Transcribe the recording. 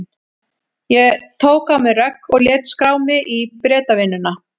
Ég tók á mig rögg og lét skrá mig í Bretavinnuna.